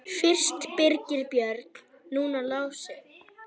Fyrst Birgir Björn, núna Lási.